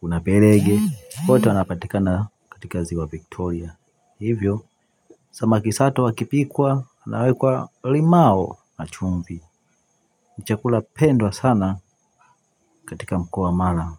kuna berege wote wanapatikana katika ziwa Victoria. Hivyo, samaki sato wakipikwa, wanawekwa limao na chumvi ni chakula pendwa sana katika mkoa mara.